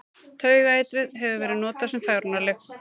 Taugaeitrið hefur verið notað sem fegrunarlyf.